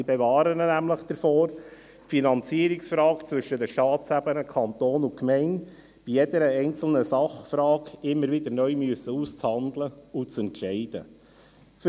Diese bewahren ihn nämlich davor, die Finanzierungsfrage zwischen den Staatsebenen Kanton und Gemeinde bei jeder einzelnen Sachfrage immer wieder neu aushandeln und entscheiden zu müssen.